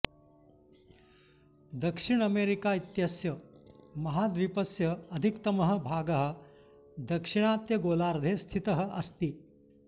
दक्षिण अमेरिका इत्यस्य महाद्वीपस्य अधिकतमः भागः दाक्षिणात्यगोलार्धे स्थितः अस्ति